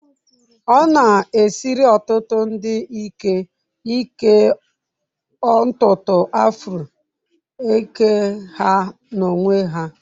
Ọ na-esiri ọtụtụ ndị ike ịke ntutu afro eke ha n'onwe ha